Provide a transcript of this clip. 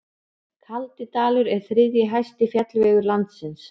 Kaldidalur er þriðji hæsti fjallvegur landsins.